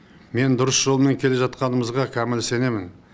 мен дұрыс жолмен келе жатқанымызға кәміл сенемін